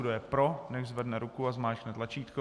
Kdo je pro, nechť zvedne ruku a zmáčkne tlačítko.